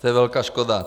To je velká škoda.